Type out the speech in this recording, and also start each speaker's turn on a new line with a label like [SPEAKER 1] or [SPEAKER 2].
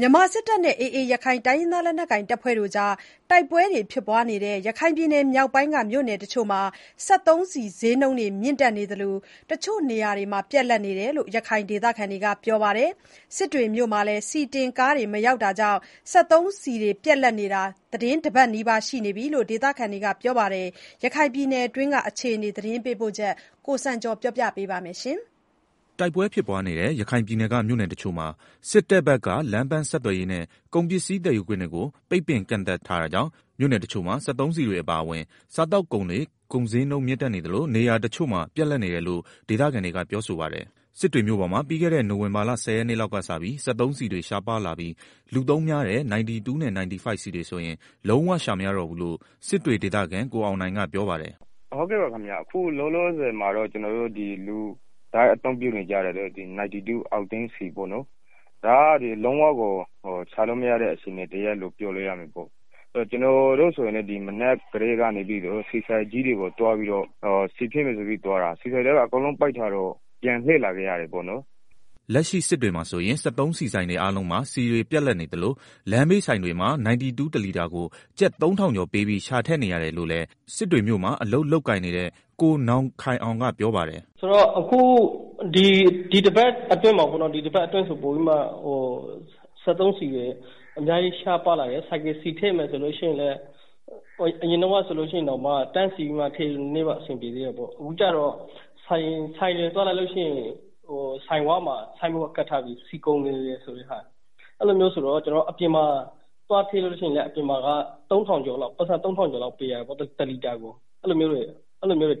[SPEAKER 1] မြန်မာစစ်တပ်နဲ့ AA ရခိုင်တိုင်းရင်းသားလက်နက်ကိုင်အဖွဲ့တွေ တိုက်ပွဲဖြစ်နေတဲ့ ရခိုင်ပြည်နယ် မြောက်ပိုင်းက မြို့နယ်တချို့မှာ စက်သုံးဆီဈေးနှုန်းတွေ မြင့်တက်နေသလို တချို့နေရာတွေမှာ ပြတ်လပ်နေတယ်လို့ ရခိုင်ဒေသခံတွေက ပြောနေပါတယ်။ စစ်တွေမြို့မှာလည်း ဆီတင်ကားတွေ မရောက်တာကြောင့် စက်သုံးဆီ တွေ ပြတ်လပ်နေတာ တပတ်နီးပါးရှိနေပြီလို့ ဒေသခံတွေက ပြောပြကြပါတယ်။ ရခိုင်ပြည်နယ်တွင်း အခြေအနေ သတင်းပေးပို့ချက်ကို ကိုစံကျော် တင်ပြပေးထားပါတယ်။
[SPEAKER 2] တိုက်ပွဲဖြစ်ပွားနေတဲ့ ရခိုင်ပြည်နယ်က မြို့နယ်တချို့မှာ စစ်တပ်ဘက်က လမ်းပန်းဆက်သွယ်ရေးနဲ့ ကုန်ပစ္စည်းသယ်ယူခွင့်တွေကို ပိတ်ပင် ကန့်သတ်ထားတာကြောင့် မြို့နယ်တချို့မှာ စက်သုံးဆီတွေအပါအဝင် စားသောက်ကုန်တွေ ဈေးနှုန်းမြင့်တက်နေသလို နေရာတချို့မှာ ပြတ်လပ်နေတယ်လို့ ဒေသခံတွေကပြောပါတယ်။စစ်တွေမြို့ပေါ်မှာ ပြီးခဲ့တဲ့ နိုဝင်ဘာလ ၁၀ ရက်နေ့လောက်ကစပြီး စက်သုံးဆီတွေ ရှားပါးလာပြီး လူသုံးများတဲ့ 95 နဲ့ 95 ဆီတွေဆိုရင်လုံးဝ ရှာမရတော့ဘူးလို့ စစ်တွေဒေသခံ ကိုအောင်နိုင်ကပြောပါတယ်
[SPEAKER 3] ။ “အခုလောလောဆယ်မှာတော့ လူတိုင်းအသုံးများတဲ့ 92 အောက်တိန်းဆီပေါ့နော်။ လုံးဝကိုရှာလို့မရတဲ့ အခြေအနေရှိတယ်။ ကျနော်တို့ဆိုရင်လည်း မနက်ကတည်းက ဆီဆိုင်ကိုသွားတာ ဆီဆိုင်တွေအကုန်လုံးက ပိတ်ထားတော့ ပြန်လာခဲ့ရတယ်။”
[SPEAKER 2] လက်ရှိ စစ်တွေမြို့မှာဆိုရင် စက်သုံးဆီဆိုင်တွေအားလုံးမှာ ဆီတွေ ပြတ်လပ်နေသလို လမ်းဘေးဆိုင်တွေမှာ ၉၂ တလီတာကို ကျပ် ၃ ထောင်ကျော်ပေးပြီး ရှာထည့်နေရတယ်လို့လည်း စစ်တွေမြို့မှာ အလုပ် လုပ်ကိုင်နေတဲ့ ကိုနောင်ခိုင်အောင်က ပြောပါတယ်
[SPEAKER 4] ။ “ ဒီတပတ်အတွင်းမှာ ပေါ့နော် စက်သုံးဆီတွေက ပိုပြီးတော့ ရှားပါးလာတယ်။ ဆိုင်ကယ် ဆီထည့်မယ်ဆိုရင်လည်း အရင်တုန်းက တန်းစီပြီးတော့ ထည့်ရင် အဆင်ပြေသေးတယ်။ ဆိုင်တွေသွားလိုက်ရင် ဆိုင်ဝမှာ ဆိုင်းဘုတ်ကပ်ထားတယ် - ဆီကုန်နေတယ်၊ ဆိုတော့ ကျနော်တို့ အပြင်မှာရှာထည့်ရင်လည်း အပြင်မှာက တလီတာကို ၃ ထောင်ကျော် လောက် ပေးရတယ်။ အဲဒါတောင် နေရာတိုင်းမှာ ထည့်လို့မရတော့ဘူး။ အဲလိုမျိုးပေါ့။